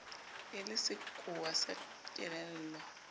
e le sekowa sa kelello